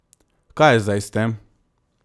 Kaj je zdaj s tem?